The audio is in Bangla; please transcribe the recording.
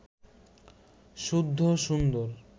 শুদ্ধ সুন্দর